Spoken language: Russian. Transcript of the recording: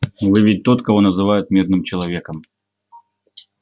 вы ведь тот кого называют мирным человеком